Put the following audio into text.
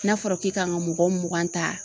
N'a fɔra k'e kan ka mɔgɔ mugan ta